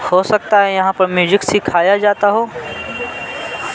हो सकता है यहाँ पर म्यूजिक सिखाया जाता हो।